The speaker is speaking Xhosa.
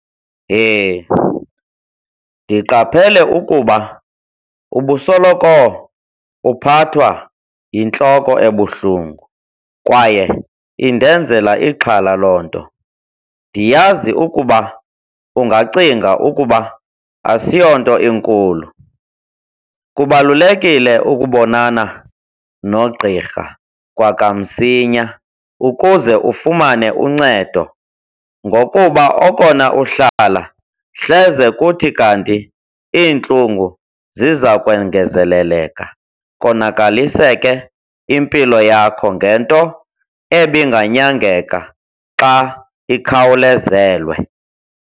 Heh, ndiqaphele ukuba ubusoloko uphathwa yintloko ebuhlungu kwaye indenzela ixhala loo nto. Ndiyazi ukuba ungacinga ukuba asiyonto inkulu. Kubalulekile ukubonana nogqirha kwakamsinya ukuze ufumane uncedo ngokuba okona uhlala, hleze kuthi kanti iintlungu ziza kwengezeleleka konakaliseke impilo yakho ngento ebinganyakenga xa ikhawulezelwe.